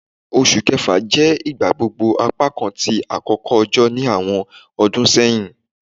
Oṣu Kẹfa jẹ igbagbogbo apakan ti akoko ojo ni awọn ọdun sẹhin